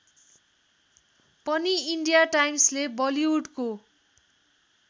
पनि इन्डियाटाइम्सले बलिउडको